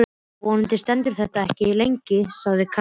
Vonandi stendur þetta ekki lengi, sagði Karen.